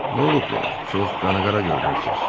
"Nolub belə? Çox qanaqara görünürsüz?"